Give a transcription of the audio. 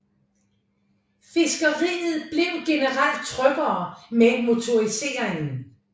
Fiskeriet blev generelt tryggere med motoriseringen